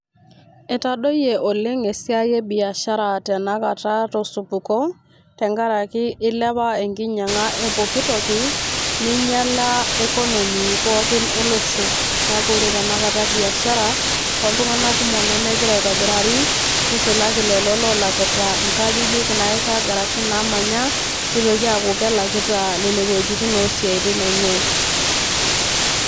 Etadoyie oleng esiaie biashara tenakata too supuko tenkaraki ilepa enkinyanga epooki toki ,ninyiala economy pookin olosho. Ore tenakata biashara oltunganak kumok nemegira aitobirari ,nisulaki lelo olakita nkajijik nairag ashu naamanya ,nitoki aaku kelakita nene wuejitin osiatin enye.